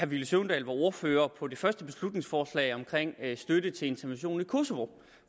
villy søvndal var ordfører på det første beslutningsforslag om støtte til interventionen i kosovo